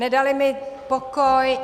Nedali mi pokoj.